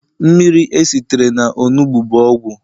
mmiri esitere na onugbu bu ogwu